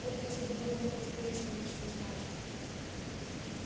вот если бы мы хоть выяснили что значит